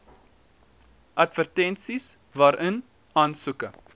advertensies waarin aansoeke